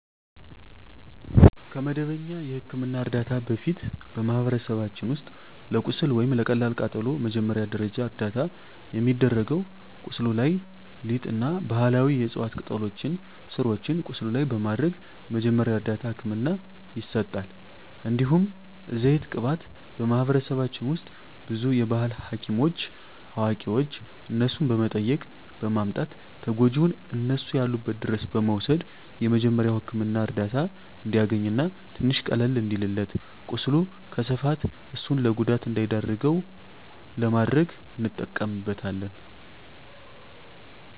ከመደበኛ የሕክምና ዕርዳታ በፊት፣ በማኅበረሰባችን ውስጥ ለቁስል ወይም ለቀላል ቃጠሎ መጀመሪያ ደረጃ እርዳታ የሚደረገው ቁስሉ ላይ ሊጥ እና ባህላዊ የዕፅዋት ቅጠሎችን ስሮችን ቁስሉ ላይ በማድረግ መጀመሪያ እርዳታ ህክምና ይሰጣል። እንዲሁም ዘይት ቅባት በማህበረሰባችን ውስጥ ብዙ የባህል ሀኪሞች አዋቂዋች እነሱን በመጠየቅ በማምጣት ተጎጅውን እነሱ ያሉበት ድረስ በመውሰድ የመጀሪያዉ ህክምና እርዳታ እንዲያገኝ እና ትንሽ ቀለል እንዲልለት ቁስሉ ከስፋፋት እሱን ለጉዳት እንዳይዳርገው ለማድረግ እንጠቀምበታለን።